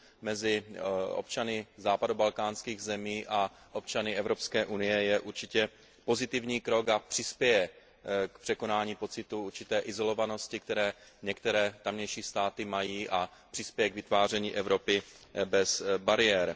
mezi občany západobalkánských zemí a občany Evropské unie je určitě pozitivní krok a přispěje k překonání pocitu určité izolovanosti, který některé tamější státy mají, a přispěje k vytváření Evropy bez bariér.